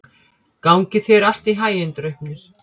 Gangi þér allt í haginn, Draupnir.